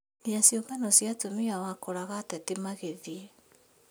Nginya ciũngano cia atumia wakoraga ateti magĩthiĩ